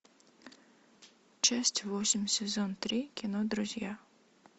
часть восемь сезон три кино друзья